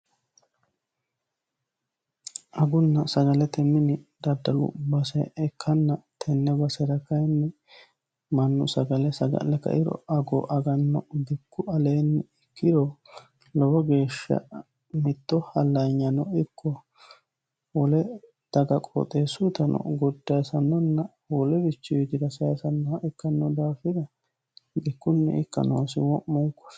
agunna sagalete mini daddalu base ikkanna tenne basera kayinni mannu sagale saga'le kairo ago aganno bikku aleenni ikkiro lowo geeshsha mitto hallaanyano ikko wole daga qooxeessutano goddaasannonna wolewichi widira saasannoh ikkanno daafira bikkunni ikka noosi wo'monkori